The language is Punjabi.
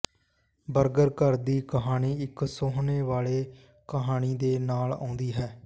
ਬਰਗਰ ਘਰ ਦੀ ਕਹਾਣੀ ਇਕ ਸੋਹਣੇ ਵਾਲੀ ਕਹਾਣੀ ਦੇ ਨਾਲ ਆਉਂਦੀ ਹੈ